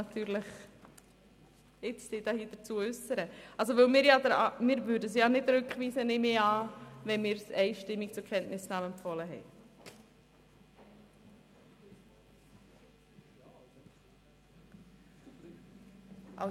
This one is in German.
Ich gehe davon aus, dass die SiK das Geschäft nicht rückweisen wird, da sie es einstimmig zur Kenntnisnahme empfiehlt.